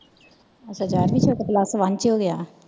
ਅੱਛਾ ਯਾਰਵੀ ਚ ਏ ਤੇ plus one ਚ ਹੋ ਗਯਾ।